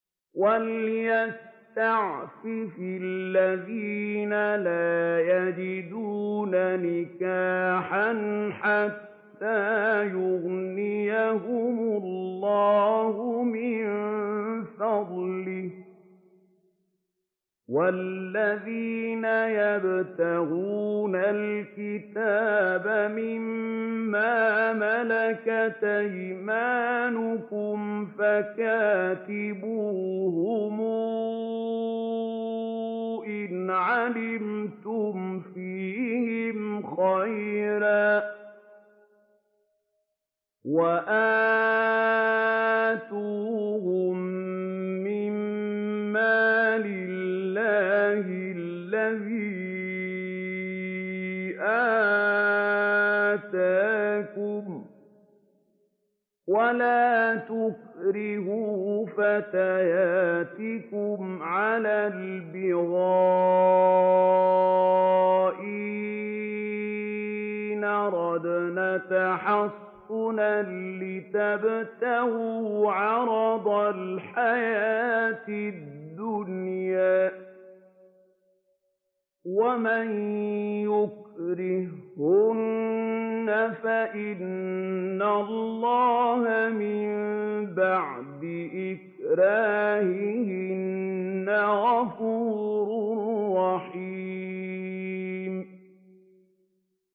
وَلْيَسْتَعْفِفِ الَّذِينَ لَا يَجِدُونَ نِكَاحًا حَتَّىٰ يُغْنِيَهُمُ اللَّهُ مِن فَضْلِهِ ۗ وَالَّذِينَ يَبْتَغُونَ الْكِتَابَ مِمَّا مَلَكَتْ أَيْمَانُكُمْ فَكَاتِبُوهُمْ إِنْ عَلِمْتُمْ فِيهِمْ خَيْرًا ۖ وَآتُوهُم مِّن مَّالِ اللَّهِ الَّذِي آتَاكُمْ ۚ وَلَا تُكْرِهُوا فَتَيَاتِكُمْ عَلَى الْبِغَاءِ إِنْ أَرَدْنَ تَحَصُّنًا لِّتَبْتَغُوا عَرَضَ الْحَيَاةِ الدُّنْيَا ۚ وَمَن يُكْرِههُّنَّ فَإِنَّ اللَّهَ مِن بَعْدِ إِكْرَاهِهِنَّ غَفُورٌ رَّحِيمٌ